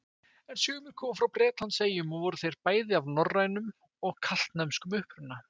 En sumir komu frá Bretlandseyjum og voru þeir bæði af norrænum og keltneskum uppruna.